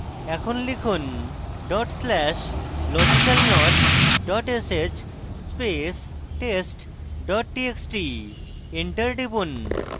এখন লিখুন dot slash logicalnot dot sh space test dot txt enter টিপুন